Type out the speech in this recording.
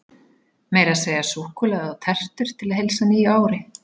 Meira að segja súkkulaði og tertur til að heilsa nýju ári.